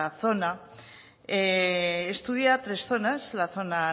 zona estudia tres zonas la zona